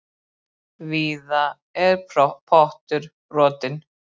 Víða er pottur brotinn.